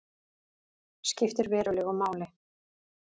Skiptir verulegu máli